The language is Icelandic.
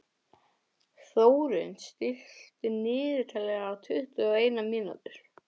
Þórunn, stilltu niðurteljara á tuttugu og eina mínútur.